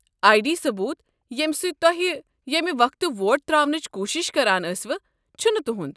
آیہ ڈی ثبوٗت ییٚمہ سۭتۍ تۄہہ ییمہِ وقتہٕ ووٹ ترٛاونٕچ کوٗشِش کران ٲسِوٕ چھُنہٕ تُہُنٛد۔